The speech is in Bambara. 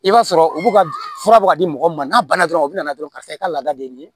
I b'a sɔrɔ u b'u ka fura bɔ ka di mɔgɔw ma n'a banna dɔrɔn u bɛna na dɔrɔn karisa i ka laada de ye